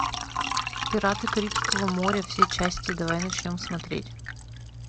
пираты карибского моря все части давай начнем смотреть